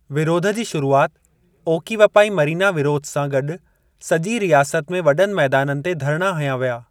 विरोध जी शुरूआति ओकीवपाई मरीना विरोध सां गॾु सॼी रियासत में वॾनि मैदाननि ते धरणा हंया विया।